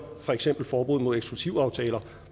for eksempel forbud mod eksklusivaftaler for